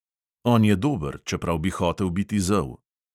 On je dober, čeprav bi hotel biti zel.